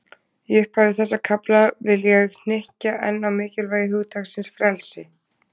Í upphafi þessa kafla, vil ég hnykkja enn á mikilvægi hugtaksins frelsi.